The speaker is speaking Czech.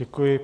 Děkuji.